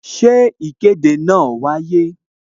Ṣé ìkéde náà wáyé?